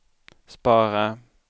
spara